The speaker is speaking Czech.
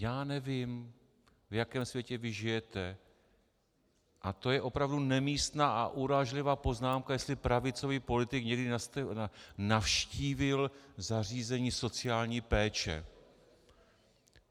Já nevím, v jakém světě vy žijete, a to je opravdu nemístná a urážlivá poznámka, jestli pravicový politik někdy navštívil zařízení sociální péče.